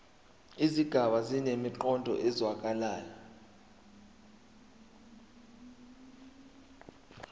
izigaba zinemiqondo ezwakalayo